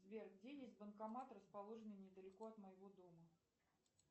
сбер где есть банкомат расположенный недалеко от моего дома